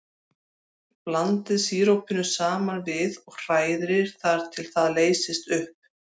Blandið sírópinu saman við og hrærið þar til það leysist upp.